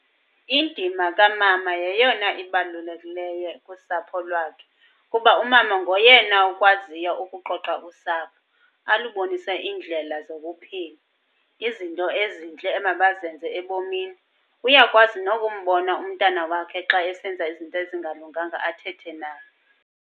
Indima kamama yeyona ibalulekileyo kusapho lwakhe, kuba umama ngoyena ukwaziya ukuqoqa usapho alubonise iindlela zokuphila, izinto ezintle emabazenze ebomini. Uyakwazi nokumbona umntana wakhe xa esenza izinto ezingalunganga athethe naye.